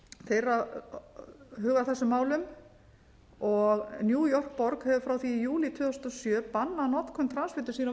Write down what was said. eru að huga að þessum málum og new york borg hefur frá júlí tvö þúsund og sjö bannað notkun transfitusýra á